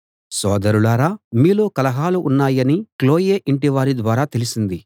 సోదరులారా మీలో కలహాలు ఉన్నాయని క్లోయె ఇంటివారి ద్వారా తెలిసింది